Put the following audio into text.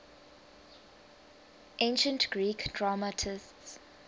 ancient greek dramatists